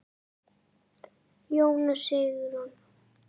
Jón og Sigrún.